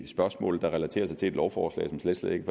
spørgsmål der relaterer sig til et lovforslag som slet slet ikke